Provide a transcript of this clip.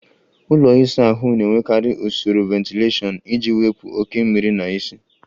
Ụlọ ịsa ahụ na-enwekarị usoro ventilashion iji wepụ oke mmiri na ísì.